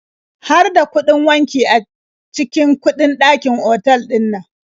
Har da kuɗin wanki a cikin kuɗin dakin otal ɗinnan?